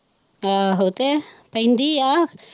ਆਹੋ ਤੇ ਪੈਂਦੀ ਆ।